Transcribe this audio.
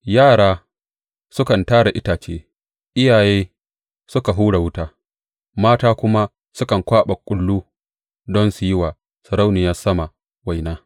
Yara sukan tara itace, iyaye suka hura wuta, mata kuma sukan kwaɓa kullu don su yi wa Sarauniyar Sama waina.